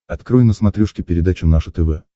открой на смотрешке передачу наше тв